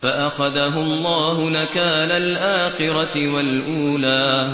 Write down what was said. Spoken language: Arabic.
فَأَخَذَهُ اللَّهُ نَكَالَ الْآخِرَةِ وَالْأُولَىٰ